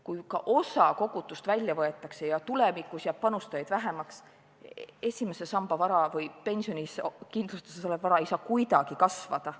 Kui ka osa kogutust välja võetakse ja tulevikus jääb panustajaid vähemaks, siis esimese samba vara või pensionikindlustuses olev vara ei saa kuidagi kasvada.